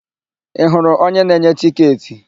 Ị hụrụ onye na-enye tịketị?